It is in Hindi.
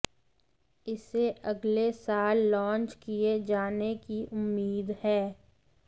इसे अगले साल लॉन्च किए जाने की उम्मीद है